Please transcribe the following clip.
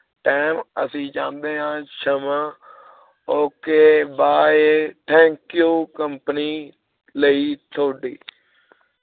time ਅਸੀ ਚਾਹੰਦੇ ਆ ਸ਼ਮਾਂ ok bye thank you company ਲਈ ਥੋਡੀ